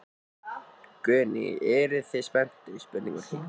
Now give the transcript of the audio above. Guðný: Eruð þið spenntir?